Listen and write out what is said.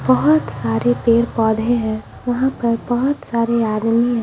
बहुत सारे पेड़-पौधे हैं वहां पर बहुत सारे आदमी है।